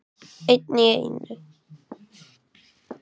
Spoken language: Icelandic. Einn í einu.